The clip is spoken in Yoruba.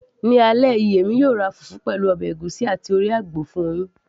ní alẹ́ yìí, èmi yóò ra fùfú, pẹ̀lú ọbẹ̀ ègúsí àti orí àgbò fún yín